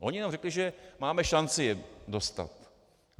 Oni jenom řekli, že máme šanci je dostat.